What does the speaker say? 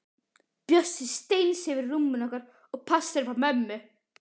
Bjössi steinsefur í rúminu okkar og passar upp á mömmu.